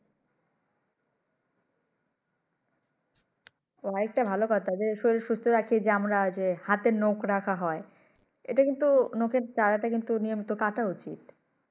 ও একটা ভালো কথা যে শরীর সুস্থ রাখি যে আমরা হাতের নখ রাখা হয়। এটা কিন্তু নখের চারা টা কিন্তু নিয়মিত কাটা উচিৎ।